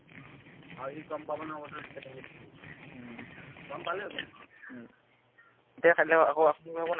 হম হম এতিয়া পাতিলে আকৌ পাতিব লাগিব নাই